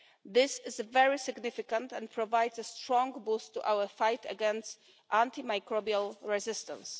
This is very significant and provides a strong boost to our fight against antimicrobial resistance.